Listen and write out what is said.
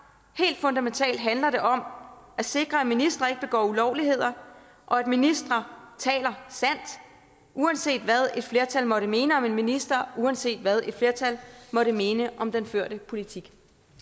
helt fundamentalt handler det om at sikre at ministre ikke begår ulovligheder og at ministre taler sandt uanset hvad et flertal måtte mene om en minister uanset hvad et flertal måtte mene om den førte politik